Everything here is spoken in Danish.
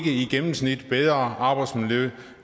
i gennemsnit bedre arbejdsmiljø